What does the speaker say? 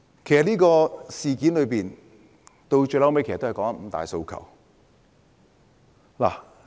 其實，這事件的癥結在於"五大訴求"。